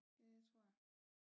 Det tror jeg